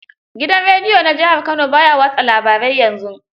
Gidan rediyo na jihar Kano ba ya watsa labarai yanzu.